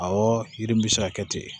Awɔ yiri m bɛ se ka kɛ ten